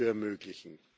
zu ermöglichen.